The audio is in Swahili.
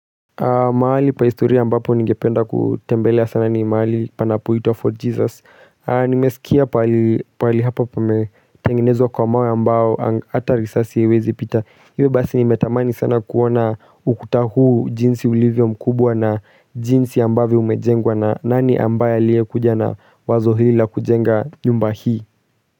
Mahali pa historia ambapo ningependa kutembelea sana ni mahali panapoitwa fort jesus Nimesikia pahali hapa pametengenezwa kwa mawe ambao ata risasi haiwezi pita Iwe basi nimetamani sana kuona ukuta huu jinsi ulivyo mkubwa na jinsi ambavyo umejengwa na nani ambaye aliye kuja na wazo hili la kujenga nyumba hii.